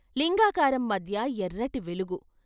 లింగాకారం మధ్య ఎర్రటి వెలుగు.